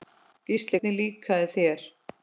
Gísli: Hvernig líkaði þér?